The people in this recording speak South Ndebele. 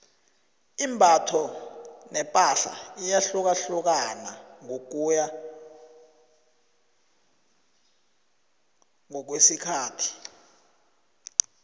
imbatho nepahla iyahlukahlukana ngokuya ngokwesikhathi